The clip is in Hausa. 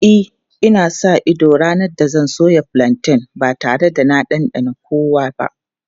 E, ina sa ido ranar da zan soya fulanten ba tare da na ɗanɗana kowa ba.